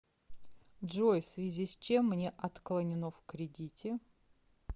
джой в связи с чем мне отклонено в кредите